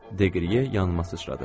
Deqriye yanıma sıçradı.